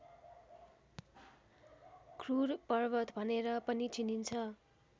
क्रुर पर्वत भनेर पनि चिनिन्छ